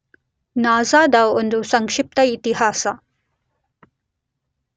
NASA ದ ಒಂದು ಸಂಕ್ಷಿಪ್ತ ಇತಿಹಾಸ